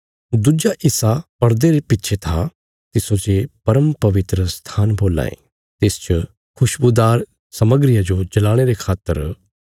दुज्जा हिस्सा परदे रे पिच्छे था तिस्सो जे परम पवित्रस्थान बोलां ये